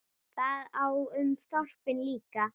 Það á um þorpin líka.